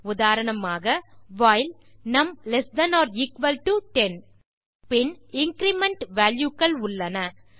உதாரணமாக வைல் நும் ல்ட் 10 பின் இன்கிரிமெண்ட் வால்யூ கள் உள்ளன